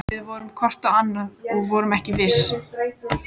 Við horfðum hvort á annað- og vorum ekki viss.